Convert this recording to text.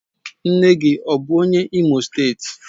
Nne gi bu onye Imo steeti?